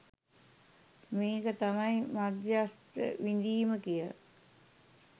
මේක තමයි මධ්‍යස්ථ විඳීම කියල.